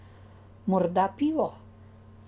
Morda pivo.